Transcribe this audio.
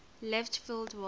left field wall